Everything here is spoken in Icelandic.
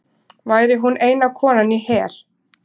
Væri hún eina konan í her